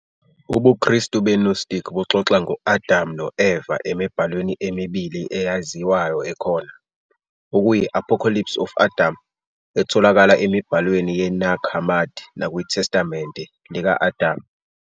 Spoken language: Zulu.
UbuKristu be-Gnostic buxoxa ngo- Adam no-Eva emibhalweni emibili eyaziwayo ekhona, okuyi- " Apocalypse of Adam " etholakala emibhalweni yeNag Hammadi nakwiTestamente "lika-Adam".